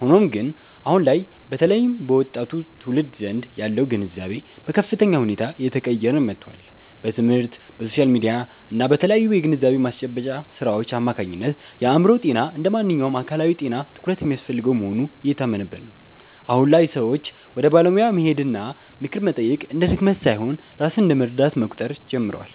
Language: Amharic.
ሆኖም ግን፣ አሁን ላይ በተለይም በወጣቱ ትውልድ ዘንድ ያለው ግንዛቤ በከፍተኛ ሁኔታ እየተቀየረ መጥቷል። በትምህርት፣ በሶሻል ሚዲያ እና በተለያዩ የግንዛቤ ማስጨበጫ ሥራዎች አማካኝነት የአእምሮ ጤና እንደ ማንኛውም አካላዊ ጤና ትኩረት የሚያስፈልገው መሆኑ እየታመነበት ነው። አሁን ላይ ሰዎች ወደ ባለሙያ መሄድና ምክር መጠየቅ እንደ ድክመት ሳይሆን ራስን እንደ መርዳት መቁጠር ጀምረዋል።